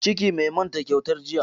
Ciki, mai manta kyautar jiya.